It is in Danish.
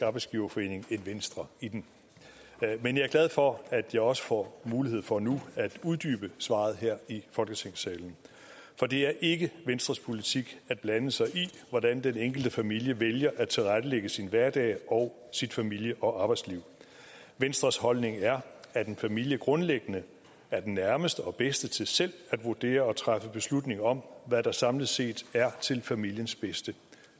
arbejdsgiverforening end venstre i den men jeg er glad for at jeg også får mulighed for nu at uddybe svaret her i folketingssalen for det er ikke venstres politik at blande sig i hvordan den enkelte familie vælger at tilrettelægge sin hverdag og sit familie og arbejdsliv venstres holdning er at en familie grundlæggende er den nærmeste og bedste til selv at vurdere og træffe beslutning om hvad der samlet set er til familiens bedste